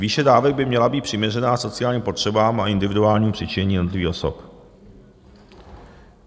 Výše dávek by měla být přiměřená sociálním potřebám a individuálnímu přičinění jednotlivých osob.